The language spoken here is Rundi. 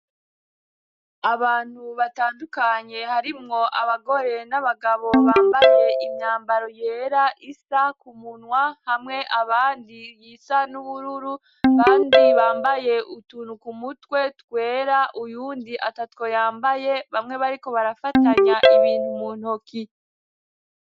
Abantu batandukanye harimwo abagore n'abagabo bambaye imyambaro yera isa ku munwa, hamwe abandi iyisa n'ubururu, abandi bambaye utuntu ku mutwe twera, uyundi atatwo yambaye, bamwe bariko barafatanya ibintu mu ntoki.